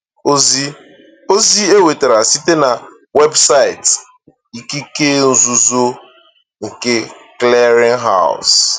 Ozi Ozi e nwetara site na webụsaịtị ikike nzuzo nke Clearinghouse.